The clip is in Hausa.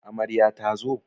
Amarya ta zo?